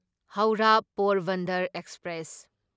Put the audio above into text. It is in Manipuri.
ꯍꯧꯔꯥ ꯄꯣꯔꯕꯟꯗꯔ ꯑꯦꯛꯁꯄ꯭ꯔꯦꯁ